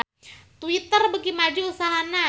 Twitter beuki maju usahana